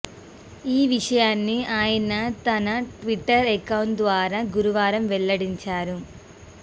ఈ విషయాన్ని ఆయన తన ట్విట్టర్ అకౌంట్ ద్వారా గురువారం వెల్లడించారు